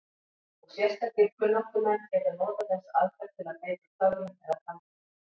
Og sérstakir kunnáttumenn geta notað þessa aðferð til að beita töfrum eða galdri.